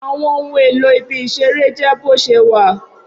Awọn ohun elo ibi isere jẹ boṣewa